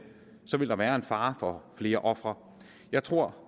vil der være en fare kommer flere ofre jeg tror